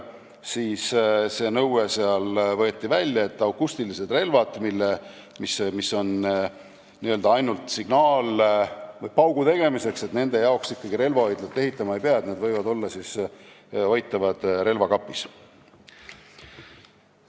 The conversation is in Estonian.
Siis võeti aga see nõue sealt välja, nii et akustilistele relvadele, mis on n-ö ainult signaalpaugu tegemiseks, ikkagi relvahoidlat ehitama ei pea ja neid võib hoida relvakapis.